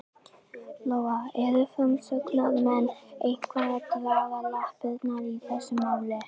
Lóa: Eru framsóknarmenn eitthvað að draga lappirnar í þessu máli?